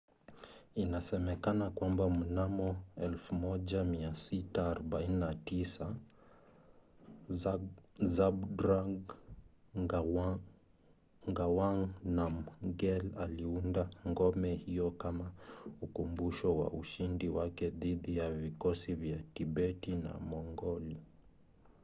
inasemekana kwamba mnamo 1649 zhabdrung ngawang namgyel aliunda ngome hiyo kama ukumbusho wa ushindi wake dhidi ya vikosi vya tibeti na mongoli